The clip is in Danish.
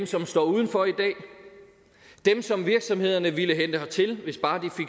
som står udenfor i dag dem som virksomhederne ville hente hertil hvis bare de